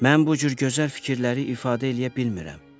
Mən bu cür gözəl fikirləri ifadə eləyə bilmirəm.